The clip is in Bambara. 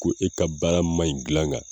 Ko e ka baara ma ɲi gilan kan